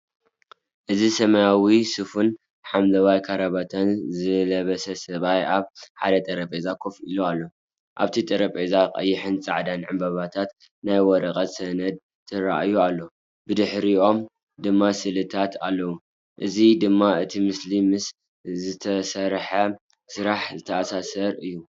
እዚ ሰማያዊ ስፍን ሐምላይ ካራባታን ዝለበሰ ሰብኣይ ኣብ ሓደ ጠረጴዛ ኮፍ ኢሉ ኣሎ። ኣብቲ ጠረጴዛ ቀይሕን ጻዕዳን ዕምባባታትን ናይ ወረቐት ሰነድን ተራእዩ ኣሎ፣ ብድሕሪኦም ድማ ስእልታት ኣሎ። እዚ ድማ እቲ ምስሊ ምስቲ ዝተሰርሐ ስራሕ ዝተኣሳሰር እዩ።